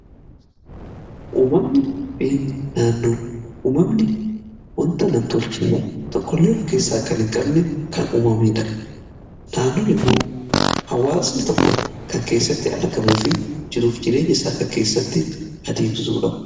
Uumamni fi naannoo: uumamni wanta namtolchee tokkollee of keessaa kan hin qabne kan uumamanidha. Naannoon immoo hawaasni tokko kan keessatti argamuu fi jiruuf jireenya isaa kan keessatti adeemsisudha.